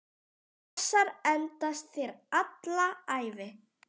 Þessar endast þér alla ævi.